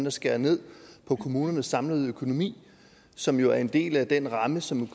at skære ned på kommunernes samlede økonomi som jo er en del af den ramme som